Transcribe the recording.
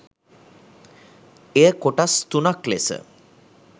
එය කොටස් තුනක් ලෙස